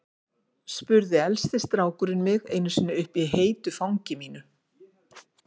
spurði elsti strákurinn mig einu sinni uppi í heitu fangi mínu.